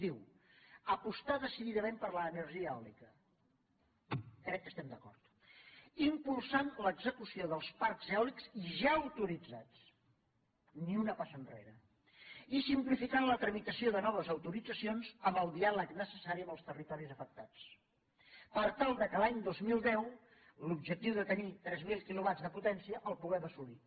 diu apostar decididament per l’energia eòlica crec que hi estem d’acord impulsant l’execució dels parcs eòlics ja autoritzats ni una passa enrere i simplificant la tramitació de noves autoritzacions amb el diàleg necessari amb els territoris afectats per tal que l’any dos mil deu l’objectiu de tenir tres mil quilowatts de potència el puguem assolir